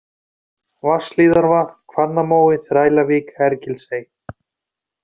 Vatnshlíðarvatn, Hvannamói, Þrælavík, Hergilsey